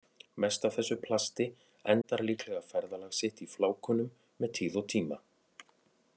Mest af þessu plasti endar líklega ferðalag sitt í flákunum með tíð og tíma.